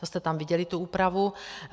To jste tam viděli, tu úpravu.